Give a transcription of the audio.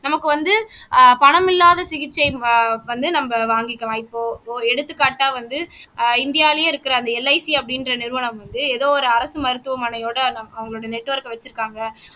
நமக்கு வந்து ஆஹ் பணம் இல்லாத சிகிச்சை வந்து நம்ம வாங்கிக்கலாம் இப்போ எடுத்துக்காட்டா வந்து ஆஹ் இந்தியாவிலேயே இருக்கிற அந்த LIC அப்படின்ற நிறுவனம் வந்து ஏதோ ஒரு அரசு மருத்துவமனையோட அவங்களோட நெட்ஒர்க வச்சிருக்காங்க